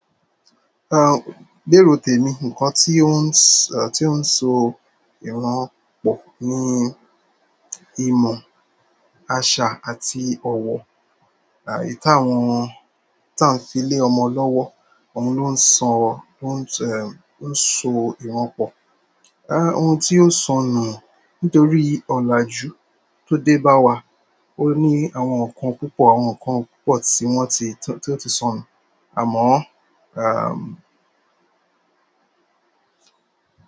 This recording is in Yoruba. Ah, lérò tèmi, nǹkan tí ó ń, tí ó ń so ìran pọ̀ ni ìmọ̀, àṣà àti ọ̀wọ̀. Èyí táwón, tá n fi lé ọmọ lọ́wọ́ òun ló ń so ìran pọ̀. Ah, ohun tí ó sọnù nítorí ọ̀làjú tó dé bá wa, ó ní àwọn nǹkan púpọ̀, àwọn nǹkan púpọ̀ tí wọ́n ti, tí ó ti sọnù. Àmọ́,